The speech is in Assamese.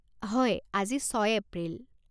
হয় আজি ছয় এপ্রিল।